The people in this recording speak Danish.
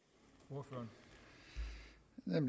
når